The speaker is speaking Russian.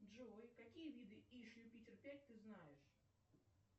джой какие виды иж юпитер пять ты знаешь